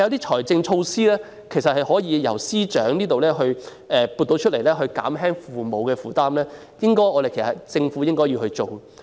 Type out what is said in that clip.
但是，司長可以採取財政措施，透過撥款減輕父母的負擔，這是政府應做的工作。